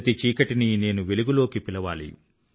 ప్రతి చీకటినీ నేను వెలుగులోకి పిలవాలి